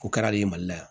O kɛra de mali la yan